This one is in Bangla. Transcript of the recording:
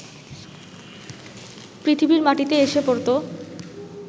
পৃথিবীর মাটিতে এসে পড়ত